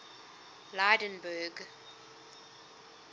lydenburg